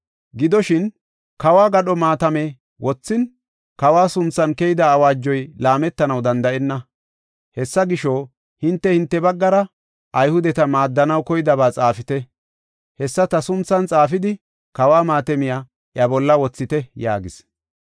Gidoshin, kawo gadho maatame wothin, kawa sunthan keyida awaajoy laametanaw danda7enna. Hessa gisho, hinte hinte baggara Ayhudeta maaddanaw koydaba xaafite. Hessa ta sunthan xaafidi, kawo maatamiya iya bolla wothite” yaagis.